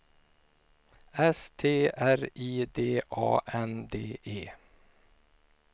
S T R I D A N D E